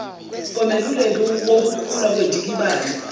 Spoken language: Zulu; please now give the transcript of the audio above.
komeluleki wukukhula kwendikibalo